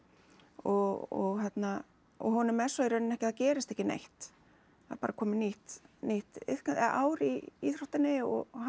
og og honum er svo í rauninni ekki það gerist ekki neitt það er bara komið nýtt nýtt ár í íþróttinni og hann